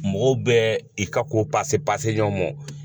Mɔgɔw bɛ i ka ko pase pase ɲɔgɔn ma